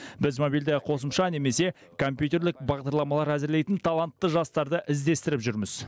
біз мобильді қосымша немесе компьтерлік бағдарламалар әзірлейтін талантты жастарды іздестіріп жүрміз